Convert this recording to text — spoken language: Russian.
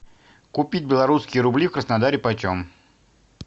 купить белорусские рубли в краснодаре почем